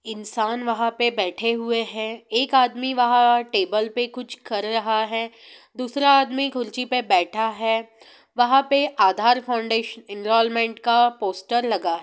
इंसान वहां पर बैठे हुए हैं| एक आदमी वहां टेबल पर कुछ कर रहा है| दूसरा आदमी खुर्चि पर बैठा है| वहां पर आधार फाउंडेशन इंस्टॉलमेंट का पोस्टर लगा है ।